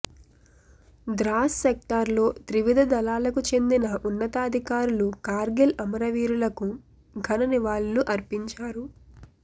Dras sector లో త్రివిధ దళాలకు చెందిన ఉన్నతాధికారులు కార్గిల్ అమర వీరులకు ఘన నివాళులు అర్పించారు